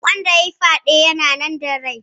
Wanda yayi fyaɗe yana nan da rai?